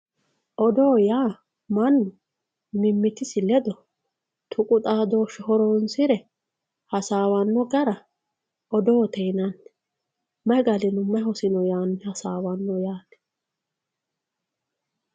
odoo yaa mannu mimmitisi ledo tuqu xaadooshshe horoonsire hasaawanno gara odoote yinanni may galino may hosino yaanni hasaawanno yaate.